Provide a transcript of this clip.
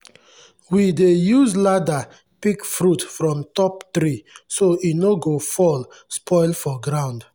we dey use ladder pick fruit from top tree so e no go fall spoil for ground.